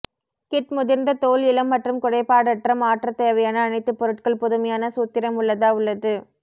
kit முதிர்ந்த தோல் இளம் மற்றும் குறைபாடற்ற மாற்ற தேவையான அனைத்து பொருட்கள் புதுமையான சூத்திரம் உள்ளதா உள்ளது